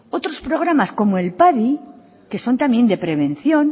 otros programas como el padi que son también de prevención